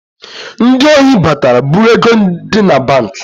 Ndị ohi batara bụ̣rụ ego di na banki